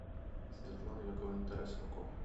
светлану яковлевну тарасенко